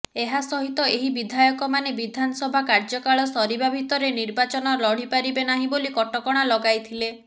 ଏହା ସହିତ ଏହି ବିଧାୟକମାନେ ବିଧାନସଭା କାର୍ଯ୍ୟକାଳ ସରିବା ଭିତରେ ନିର୍ବାଚନ ଲଢ଼ିପାରିବେ ନାହିଁ ବୋଲି କଟକଣା ଲଗାଇଥିଲେ